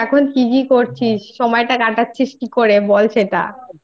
কি আছিস? এখন কি কি করছিস? সময়টা কাটাচ্ছিস কি করে? বল সেটা।